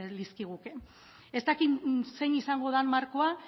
lizkiguke ez dakit zein izango den markoa